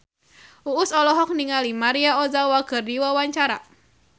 Uus olohok ningali Maria Ozawa keur diwawancara